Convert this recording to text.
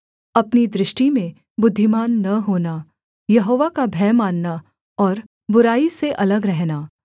अपनी दृष्टि में बुद्धिमान न होना यहोवा का भय मानना और बुराई से अलग रहना